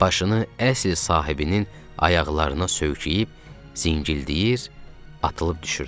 Başını əsl sahibinin ayaqlarına söykəyib zingildəyir, atılıb düşürdü.